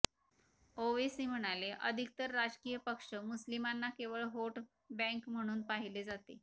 ओवेसी म्हणाले अधिकतर राजकीय पक्ष मुस्लिमांना केवळ व्होट बँक म्हणून पाहिले जाते